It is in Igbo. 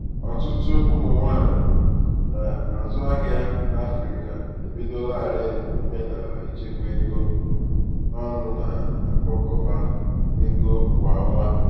ọtụtụ ụmụ nwanyị na-azụ ahịa n'afrịka ebidolarii omenala ichekwa ego ọnụ na-akpakọba ego kwa ọnwa.